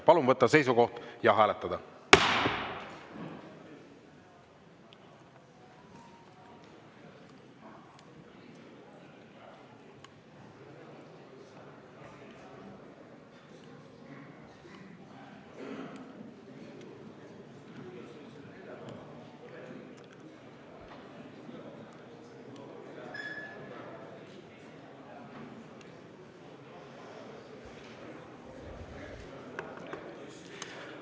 Palun võtta seisukoht ja hääletada!